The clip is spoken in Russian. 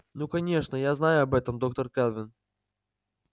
ну конечно я знаю об этом доктор кэлвин